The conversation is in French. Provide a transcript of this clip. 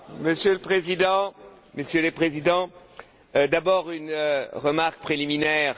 Monsieur le Président, Messieurs les Présidents, d'abord une remarque préliminaire.